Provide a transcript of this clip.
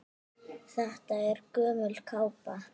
Þetta er gömul kápa.